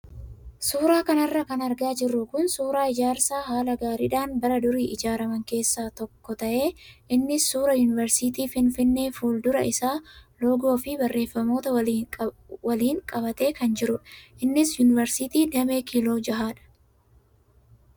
Suuraa kanarra kan argaa jirru kun suuraa ijaarsa haala gaariidhaan bara durii ijaaraman keessaa tokko ta'ee innis suuraa yuunivarsiitii Finfinnee fuuldura isaa loogoo fi barreeffamoota waliin qabatee kan jirudha. Innis yuunivarsiitii damee kiiloo jahadha.